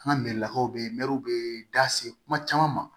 An ka mɛri lakaw bɛ mɛruw bɛ da se kuma caman ma